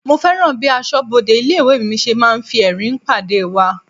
Mo fẹ́ràn bí aṣọbode ilé-ìwé mi ṣe máa ń fi ẹrin pàdé wa.